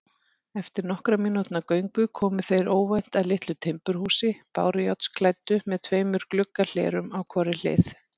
Eftir nokkurra mínútna göngu komu þeir óvænt að litlu timburhúsi, bárujárnsklæddu með tveimur gluggahlerum á hvorri hlið.